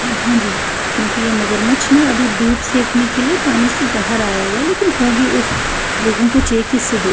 हाँ जी क्योंकि ये मगरमच्छ ना अभी धूप सेकने के लिए पानी से बाहर आया हुआ है लेकिन होगी उफ़ लोगों को चाहिए कि इससे--